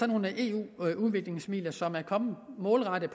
nogle eu udviklingsmidler som er målrettet